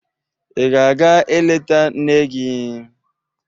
Ị ga-aga eleta nne gị?